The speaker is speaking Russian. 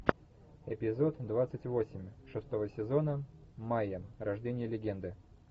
эпизод двадцать восемь шестого сезона майя рождение легенды